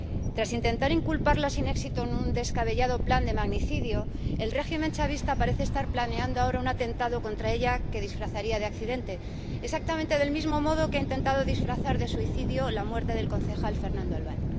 Tras intentar inculparla sin éxito en un descabellado plan de magnicidio, el régimen chavista parece estar planeando ahora un atentado contra ella que disfrazaría de accidente, exactamente del mismo modo que ha intentado disfrazar de suicidio la muerte del concejal Fernando Albán.